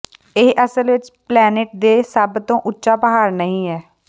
ਇਹ ਅਸਲ ਵਿੱਚ ਪਲੈਨਿਟ ਤੇ ਸਭ ਤੋਂ ਉੱਚਾ ਪਹਾੜ ਨਹੀਂ ਹੈ